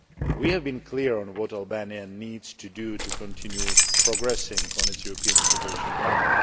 We have been clear on what Albania needs to do to continue progressing on its European integration path.